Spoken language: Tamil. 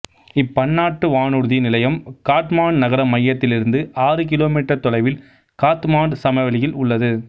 இப்பன்னாட்டு வானூர்தி நிலையம் காட்மாண்டு நகர மையத்திலிருந்து ஆறு கிலோ மீட்டர் தொலைவில் காத்மாண்டு சமவெளியில் உள்ளது